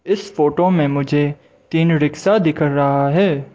इस फोटो में मुझे तीन रिक्शा दिख रहा है।